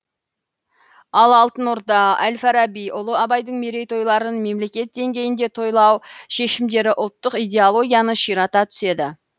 ал алтын орда әл фараби ұлы абайдың мерейтойларын мемлекет деңгейінде тойлау шешімдері ұлттық идеологияны ширата түседі